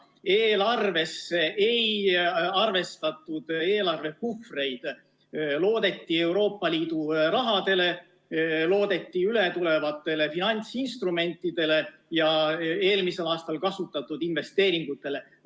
Eelarves ei arvestatud eelarvepuhvreid, loodeti Euroopa Liidu rahale, loodeti ületulevatele finantsinstrumentidele ja eelmisel aastal kasutatud investeeringutele.